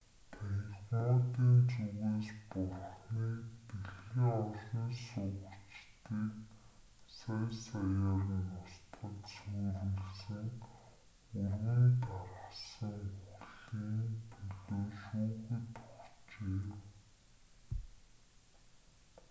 танхимуудын зүгээс бурханыг дэлхийн оршин суугчдыг сая саяар нь устгаж сүйрүүлсэн өргөн тархсан үхэл"-ийн төлөө шүүхэд өгчээ